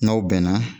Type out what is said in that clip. N'aw bɛnna